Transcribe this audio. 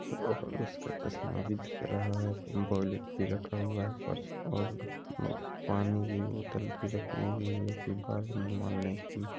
और उसका चश्मा भी दिख रहा है वॉलेट भी रखा हुआ है पर्स और अ पानी की बोतल भी रखी हुई है ऑनलाइन --